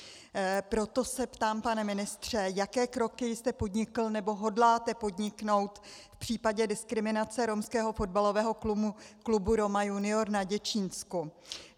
Proto se ptám, pane ministře, jaké kroky jste podnikl nebo hodláte podniknout v případě diskriminace romského fotbalového klubu Roma junior na Děčínsku.